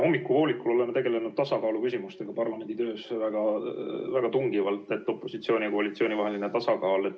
Hommikupoolikul oleme tegelenud tasakaaluküsimustega parlamendi töös ja väga tungivalt rääkinud opositsiooni ja koalitsiooni vahelisest tasakaalust.